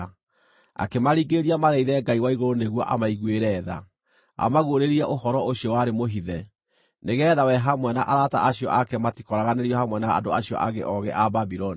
Akĩmaringĩrĩria mathaithe Ngai wa igũrũ nĩguo amaiguĩre tha, amaguũrĩrie ũhoro ũcio warĩ mũhithe, nĩgeetha we hamwe na arata acio ake matikooraganĩrio hamwe na andũ acio angĩ oogĩ a Babuloni.